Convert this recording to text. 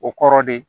O kɔrɔ de ye